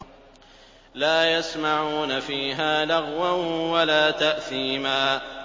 لَا يَسْمَعُونَ فِيهَا لَغْوًا وَلَا تَأْثِيمًا